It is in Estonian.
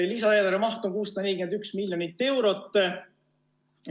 Lisaeelarve maht on 641 miljonit eurot.